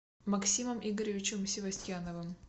максимом игоревичем севастьяновым